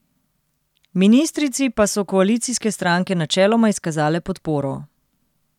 Ministrici pa so koalicijske stranke načeloma izkazale podporo.